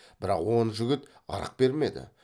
бірақ он жігіт ырық бермеді